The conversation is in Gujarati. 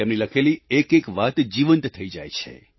તેમની લખેલી એકએક વાત જીવંત થઈ જાય છે